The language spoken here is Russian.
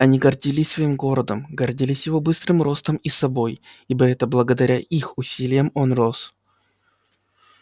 они гордились своим городом гордились его быстрым ростом и собой ибо это благодаря их усилиям он рос